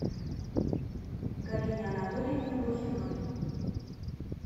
галине анатольевне блохиной